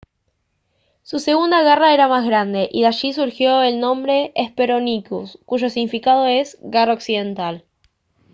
su segunda garra era más grande y de allí surgió el nombre hesperonychus cuyo significado es «garra occidental»